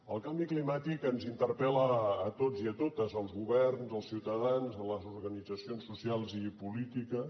el canvi climàtic ens interpel·la a tots i a totes als governs als ciutadans a les organitzacions socials i polítiques